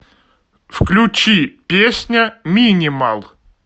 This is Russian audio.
включи песня минимал